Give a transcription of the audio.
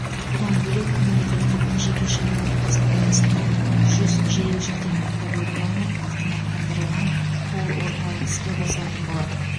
бұдан бөлек мемлекеттік жекешелік әріптестік аясында жүз жедел жәрдем автокөлігі алынып автоматтандырылған колл орталық іске қосылатын болады